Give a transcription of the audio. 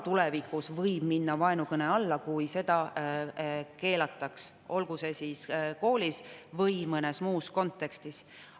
Tulevikus võib minna vaenukõne alla see, kui see keelatakse, olgu siis koolis või mõnes muus kontekstis.